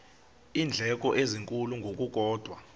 iindleko ezinkulu ngokukodwa